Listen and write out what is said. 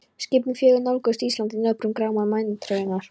Skipin fjögur nálguðust Ísland í nöprum gráma maínæturinnar.